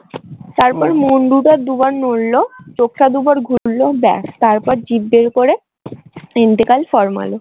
মুন্ডুটা দুবার নড়লো চোখটা দুবার ঘুরলো ব্যাস তারপর জিভ বের করে